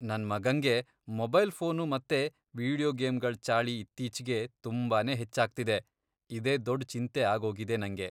ನನ್ ಮಗಂಗೆ mobile phone video ವೀಡಿಯೋ ಗೇಮ್ಗಳ್ ಚಾಳಿ ಇತ್ತೀಚ್ಗೆ ತುಂಬಾನೇ ಹೆಚ್ಚಾಗ್ತಿದೆ, ಇದೇ ದೊಡ್ ಚಿಂತೆ ಆಗೋಗಿದೆ ನಂಗೆ.